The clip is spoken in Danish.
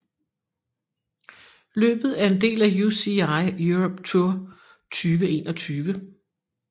Løbet er en del af UCI Europe Tour 2021